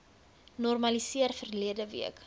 normaliseer verlede week